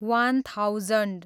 one thousand